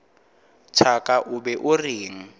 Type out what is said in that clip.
thaka o be o reng